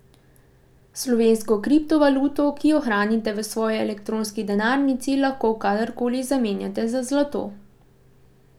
Slovensko kriptovaluto, ki jo hranite v svoji elektronski denarnici, lahko kadarkoli zamenjate za zlato.